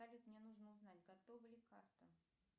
салют мне нужно узнать готова ли карта